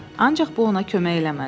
Ancaq bu ona kömək eləmədi.